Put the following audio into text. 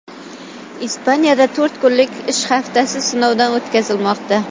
Ispaniyada to‘rt kunlik ish haftasi sinovdan o‘tkazilmoqda.